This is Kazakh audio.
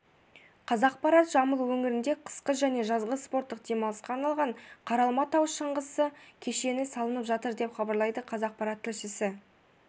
қазақпарат жамбыл өңірінде қысқы және жазғы спорттық демалысқа арналған қаралма тау шаңғысы кешені салынып жатыр деп хабарлайды қазақпарат тілшісі